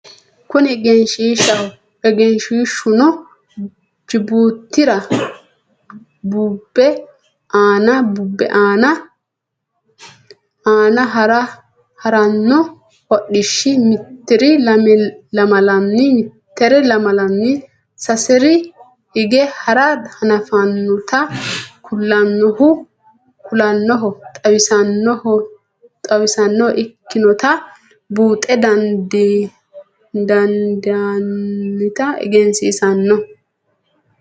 Kuni eggenshiishaho, eggenshiishunno jibuutira bube aanna harano hodhishi mitr lamalanni sasr hige hara hanafanotta kulanoho xawisanoha ikkinotta buuxxa dandinannitta eggensisanno